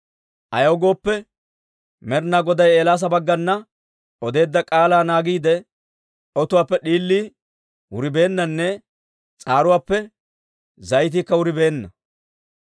Ayaw gooppe, Med'inaa Goday Eelaasa baggana odeedda k'aalaa naagiide, otuwaappe d'iilii wuribeennanne s'aaruwaappe zayitiikka wuribeenna.